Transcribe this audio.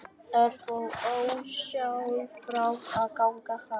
Örn fór ósjálfrátt að ganga hraðar.